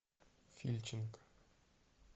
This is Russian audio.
фильченко